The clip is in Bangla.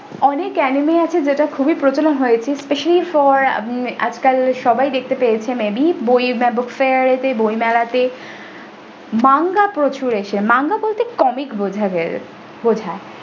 অনেক anime আছে যেটা খুবই প্রচলন হয়েছে specially for আজকাল সবাই দেখতে পেয়েছেন may be বই book fair এ তে বই মেলাতে manga প্রচুর এসেছে manga বলতে comic বোঝায়।